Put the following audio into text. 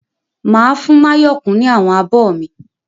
Máa fún Máyọ̀kún ní àwọn abọ mi.